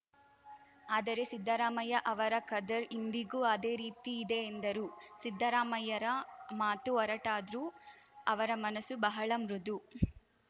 ಆದರೆ ಸಿದ್ದರಾಮಯ್ಯ ಅವರ ಖದರ್‌ ಇಂದಿಗೂ ಅದೇ ರೀತಿ ಇದೆ ಎಂದರು ಸಿದ್ದರಾಮಯ್ಯರ ಮಾತು ಒರಟಾದ್ರೂ ಅವರ ಮನಸು ಬಹಳ ಮೃದು